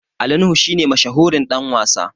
Ali nuhu shi ne mashahurin Dan wasa